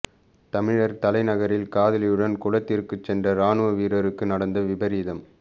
தமிழர் தலைநகரில் காதலியுடன் குளத்திற்கு சென்ற இராணுவ வீரருக்கு நடந்த விபரீதம்